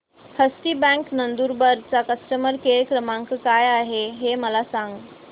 हस्ती bank Nandurbar चा customer care क्रमांक काय आहे हे मला सांगा